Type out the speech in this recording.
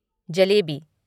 jalebi